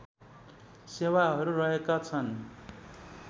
सेवाहरू रहेका छन्